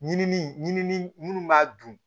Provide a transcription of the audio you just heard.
Ɲinini ɲinini b'a dun